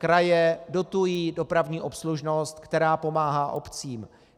Kraje dotují dopravní obslužnost, která pomáhá obcím.